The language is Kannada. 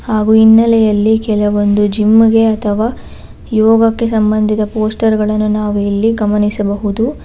ಹಾಗೂ ಹಿನ್ನೆಲೆಯಲ್ಲಿ ಕೆಲವೊಂದು ಜಿಮ್ ಇಗೆ ಅಥವ ಯೋಗಕ್ಕೆ ಸಂಬಂಧಿದ ಪೋಸ್ಟರ್ ಗಳನ್ನು ನಾವು ಎಲ್ಲಿ ಗಮನಿಸಬಹುದು.